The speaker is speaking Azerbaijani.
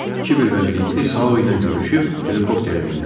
Kiber və Birlikliy Sa-u ilə görüşüb helikopterə mindilər.